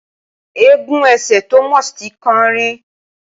Egun ẹsẹ̀ Thomas ti kán rí.